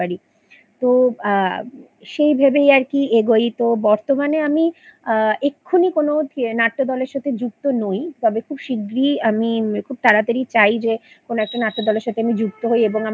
তো আ সেই ভেবেই আরকি এগোই তো বর্তমানে আমি আ এক্ষুণি কোনো থিয়ে নাট্যদলের সাথে যুক্ত নই তবে খুব শিগগিরই আমি খুব তাড়াতাড়ি চাই যে কোনো একটা নাট্যদলের সাথে আমি যুক্ত হই এবং আমার